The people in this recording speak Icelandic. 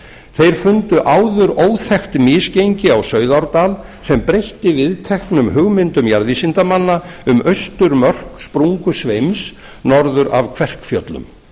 þeir fundu áður óþekkt misgengi á sauðárdal sem breytti viðteknum hugmyndum jarðvísindamanna um austurmörk sprungusveims norður af kverkfjöllum